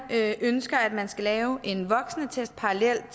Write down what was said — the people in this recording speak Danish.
ønsker at man skal lave en voksenattest parallelt